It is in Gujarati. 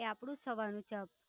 એ આપણું સવાર નું છે અપ